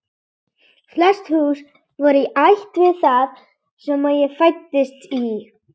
Flest hús voru í ætt við það sem ég fæddist í.